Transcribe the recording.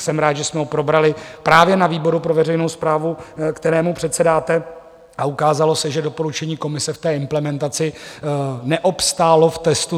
Jsem rád, že jsme ho probrali právě na výboru pro veřejnou správu, kterému předsedáte, a ukázalo se, že doporučení komise v té implementaci neobstálo v testu.